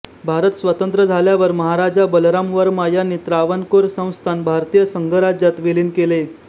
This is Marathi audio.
भारत स्वतंत्र झाल्यावर महाराजा बलराम वर्मा यांनी त्रावणकोर संस्थान भारतीय संघराज्यात विलीन केले